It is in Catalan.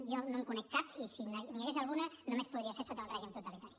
jo no en conec cap i si n’hi hagués alguna només podria ser sota un règim totalitari